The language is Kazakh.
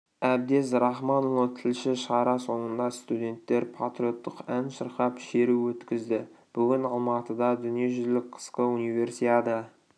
әбдез рахманұлы тілші шара соңында студенттер патриоттық ән шырқап шеру өткізді бүгін алматыда дүниежүзілік қысқы универсиада